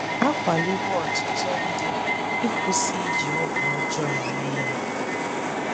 A kwaliwo ọtụtụ ndị ịkwụsị iji ọgwụ ọjọọ eme ihe